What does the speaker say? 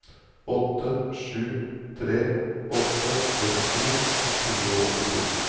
åtte sju tre åtte trettito ett hundre og åttito